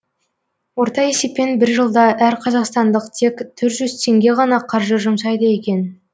орта есеппен бір жылда әр қазақстандық тек төрт жүз теңге ғана қаржы жұмсайды екен